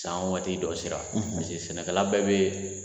San waati dɔ sera sɛnɛkala bɛɛ be